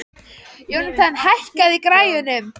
Jónatan, hækkaðu í græjunum.